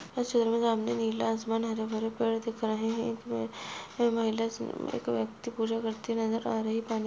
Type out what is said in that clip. तस्वीर में नीला आसमान हरे-भरे पेड़ दिख रहे हैं। इसमें एक महिला एक व्यक्ति पूजा करते नजर आ रही है। पानी --